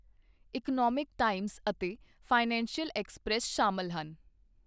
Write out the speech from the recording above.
Economic times ਅਤੇ financial express ਸ਼ਾਮਲ ਹਨ।